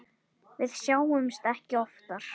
Við sjáumst ekki oftar.